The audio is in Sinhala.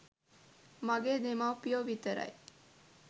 මගේ දෙමව්පියෝ විතරයි.